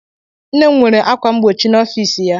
Nne m nwere ákwà mgbochi n'ọfịs ya.